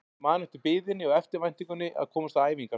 Ég man eftir biðinni og eftirvæntingunni að komast á æfingar.